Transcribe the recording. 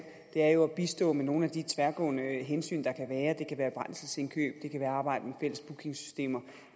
er jo at bistå med nogle af de tværgående hensyn der kan være det kan være brændselsindkøb det kan være arbejde med fælles bookingsystemer